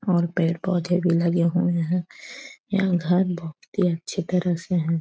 और पेड़-पौधे भी लगे हुए हैं। यहाँ घर बहोत ही अच्छी तरह से हैं।